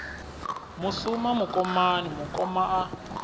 mu suma mukomani mukoma a